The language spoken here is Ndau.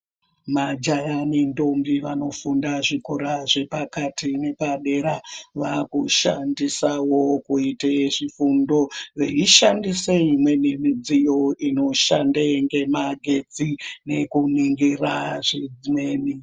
Majaya nendombi vanofunda zvikora zvepakati nezvepadera vakushandisa Wonkuite zvifundo veishandise imweni midziyo inoshande ngemagetsi nekuningira zvimweni.